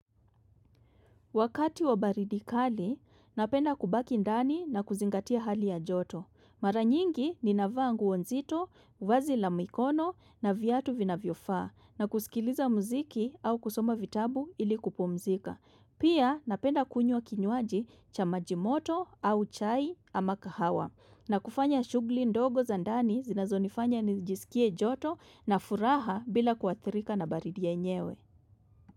Wakati wa baridi kali, napenda kubaki ndani na kuzingatia hali ya joto. Mara nyingi ni navaa nguo nzito, vazi la mikono na viatu vinavyofaa na kusikiliza muziki au kusoma vitabu ili kupumzika. Pia napenda kunywa kinywaji cha maji moto au chai ama kahawa na kufanya shugli ndogo za ndani zinazo nifanya nijisikie joto na furaha bila kuathirika na baridi yenyewe.